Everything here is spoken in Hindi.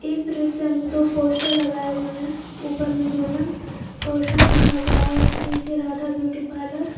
इस दृश्य में दो पोस्टर लगाए हुए हैं ऊपर में दुल्हन कौशन लिखा हुआ और नीचे राधा ब्यूटी पार्लर --